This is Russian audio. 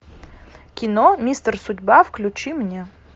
кино мистер судьба включи мне